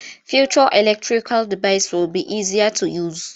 Future electrical devices will be easier to use.